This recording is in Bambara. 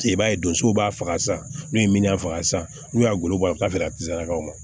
I b'a ye donsow b'a faga san n'u ye minan faga san n'u y'a golo bɔ k'a feere a tɛ sagaw ma